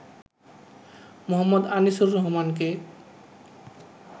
মো. আনিসুর রহমানকে।